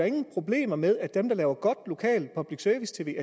ingen problemer med at dem der laver godt lokalt public service tv